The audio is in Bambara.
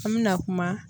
An mɛna kuma